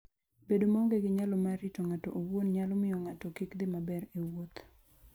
Bedo maonge gi nyalo mar rito ng'ato owuon nyalo miyo ng'ato kik dhi maber e wuoth.